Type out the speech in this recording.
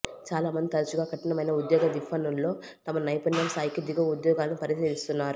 చాలామంది తరచుగా కఠినమైన ఉద్యోగ విఫణుల్లో తమ నైపుణ్యం స్థాయికి దిగువ ఉద్యోగాలను పరిశీలిస్తున్నారు